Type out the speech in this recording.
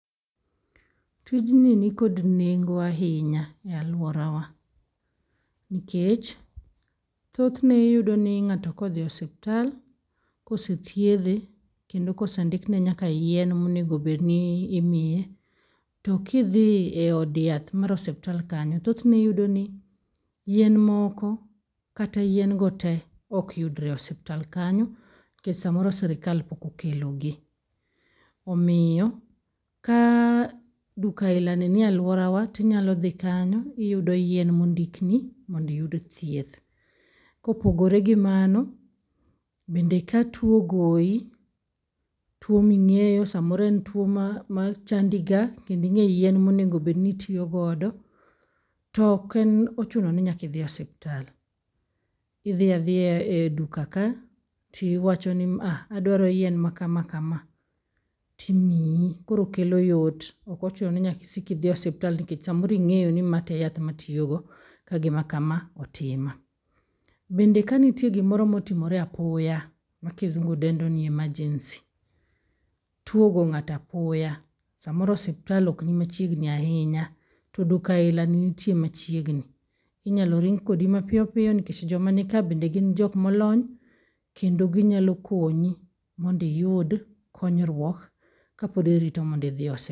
Tijni ni kod nengo ahinya e aluorawa, nikech thothne iyudo ni ng'ato kodhi hospital kose thiedhe kendo kose ndikne nyaka yien monego bed ni imiye to kidhi e od yath mar hospital kanyo thothne iyudo ni yien moko kata yien go te ok yudre e hospital kanyo nikech samoro sirikal pok okelo gi, omiyo ka duka ailani nie aluorawa to inyalo dhi kanyo iyudo yien mondikni monmdo iyud thieth, kopogore gimano bende ka tuo ogoyi tuo ming'eyo samoro en tuo machangi ga, kendo ing'eyo yien monego bed nitiyo godo, to ok ochuno ni nyaka idhi hospital idhi adhiya e duka ka to iwacho ni a aduaro yien makama kama timiyi koro kelo yot ok ochuno ni nyaka isik idhi hospital nikech samoro ing'eyo ni mae e yath ma atiyo go ka gima kama otima, bende ka nitie gimoro motimore apoya ma kisungu dendo ni emrgency tuo ogoyo ngato apoya samoro hopsital ok ni machiegni ahinya to duka ailani nitie machiegni inyalo ring kodi mapiyo piyo nikech joma ni ka bende gin jok molony kendo ginyalo konyi mondo iyud konyruok kapod irito ondo idhi hospital